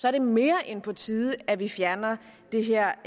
er det mere end på tide at vi fjerner det her